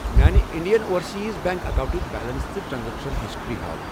میانہِ Indian Overseas Bank اکاونٹٕچ balance تہٕ ٹرانزیکشن ہسٹری ہاو۔